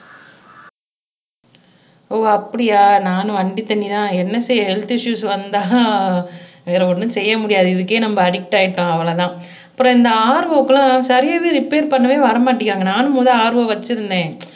ஓ அப்படியா நான் வண்டி தண்ணி தான் என்ன செய்ய ஹெல்த் இஸ்ஸுஸ் வந்தா வேற ஒண்ணும் செய்ய முடியாது இதுக்கே நம்ம அடிக்ட் ஆயிட்டோம் அவ்வளவுதான் அப்புறம் இந்த RO க்கெல்லாம் சரியாவே ரிப்பேர் பண்ணவே வரமாட்டேங்குறாங்க நானும் முதல்ல RO வச்சிருந்தேன்